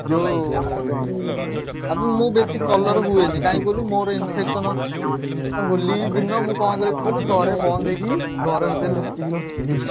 ଯୋଉ ଆବେ ମୁଁ ବେଶୀ colour ହୁଏନି କାଇଁ କହିଲୁ ମୋର infection ଅଛି ଆଉ ହୋଲି ଦିନ ମୁଁ କଣ କରେ କହିଲୁ ଘର ବନ୍ଦ କରିକି ଘର ଭିତରେ ଲୁଚିକି ବସିବି।